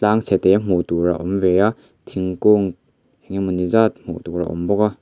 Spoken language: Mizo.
tlang chhe te hmuh tur a awm ve a thingkung eng emaw ni zat hmuh tur a awm bawk a.